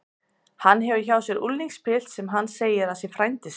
Hann hefur hjá sér unglingspilt sem hann segir að sé frændi sinn.